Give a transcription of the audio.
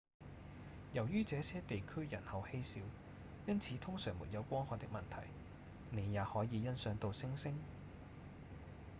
由於這些地區人口稀少因此通常沒有光害的問題您也可以欣賞到星星